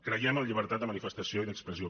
creiem en la llibertat de manifestació i d’expressió